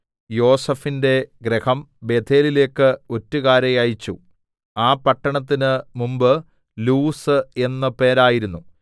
യോസേഫിന്റെ ഗൃഹം ബേഥേലിലേക്ക് ഒറ്റുകാരെ അയച്ചു ആ പട്ടണത്തിന് മുമ്പെ ലൂസ് എന്ന് പേരായിരുന്നു